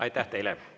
Aitäh teile!